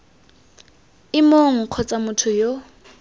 ii mong kgotsa motho yo